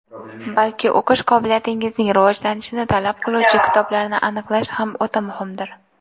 balki o‘qish qobiliyatingizning rivojlanishini talab qiluvchi kitoblarni aniqlash ham o‘ta muhimdir.